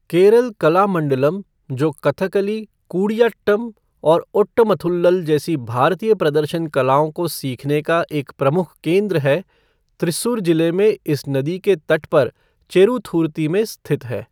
केरल कलामंडलम, जो कथकली, कूडियाट्टम और ओट्टमथुल्लल जैसी भारतीय प्रदर्शन कलाओं को सीखने का एक प्रमुख केंद्र है, त्रिस्सूर जिले में इस नदी के तट पर चेरुथुरुती में स्थित है।